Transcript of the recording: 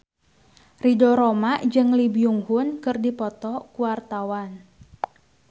Ridho Roma jeung Lee Byung Hun keur dipoto ku wartawan